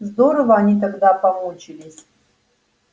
здорово они тогда помучились